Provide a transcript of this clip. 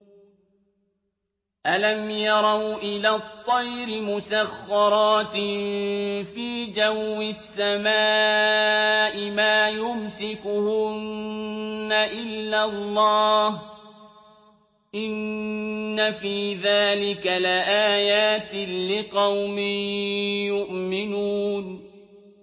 أَلَمْ يَرَوْا إِلَى الطَّيْرِ مُسَخَّرَاتٍ فِي جَوِّ السَّمَاءِ مَا يُمْسِكُهُنَّ إِلَّا اللَّهُ ۗ إِنَّ فِي ذَٰلِكَ لَآيَاتٍ لِّقَوْمٍ يُؤْمِنُونَ